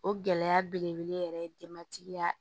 O gɛlɛya belebele yɛrɛ ye denbatigiya